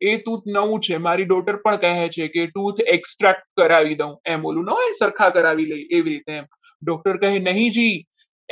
એ tooth નવું છે મારી daughter પણ કહે છે કે એ tooth extra કરાવી દઉં આમ ઓલું ના હોય સરખા કરાવી લઈએ એવી રીતે એમ doctor કહે નહીં જી